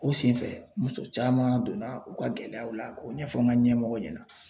O senfɛ muso caman donna o ka gɛlɛyaw la k'o ɲɛfɔ n ga ɲɛmɔgɔ ɲɛnɛ